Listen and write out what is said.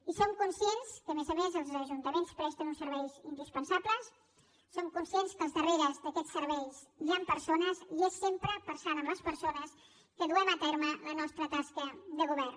i som conscients que a més a més els ajuntaments presten uns serveis indispensables som conscients que al darrere d’aquests serveis hi ha persones i és sempre pensant en les persones que duem a terme la nostra tasca de govern